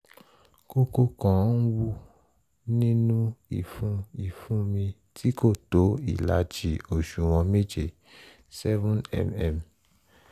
kókó kan n hù nínú ìfun ìfun mi tí kò tó ìlàjì òṣùwọ̀n méje seven mm